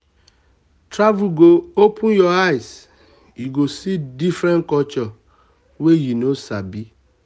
travel go open your eye you go see different cultures wey you no sabi